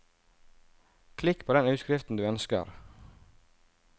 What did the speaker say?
Klikk på den utskriften du ønsker.